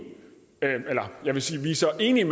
tjekkiet så jeg vil